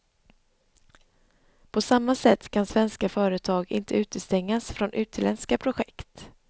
På samma sätt kan svenska företag inte utestängas från utländska projekt.